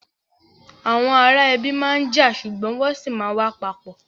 Àwọn ará ẹbi máa n já ṣugbọn wọn sì ma wa papọ.